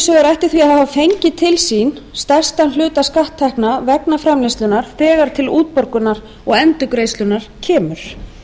því að hafa fengið til sín stærstan hluta skatttekna vegna framleiðslunnar þegar til útborgunar og endurgreiðslunnar kemur